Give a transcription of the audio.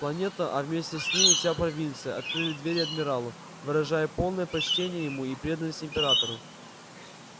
планета а вместе с ней и вся провинция открыли двери адмиралу выражая полное почтение ему и преданность императору